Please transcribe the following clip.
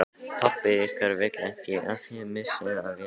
Pabbi ykkar vill ekki að þið missið af vélinni